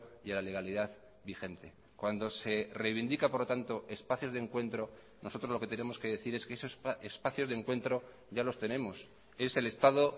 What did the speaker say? y a la legalidad vigente cuando se reivindica por lo tanto espacios de encuentro nosotros lo que tenemos que decir es que esos espacios de encuentro ya los tenemos es el estado